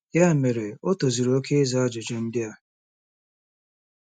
Ya mere, o tozuru oke ịza ajụjụ ndị a.